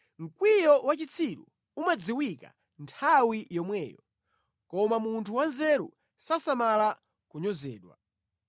Mkwiyo wa chitsiru umadziwika nthawi yomweyo, koma munthu wanzeru sasamala kunyozedwa.